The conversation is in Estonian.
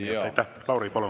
Lauri, palun!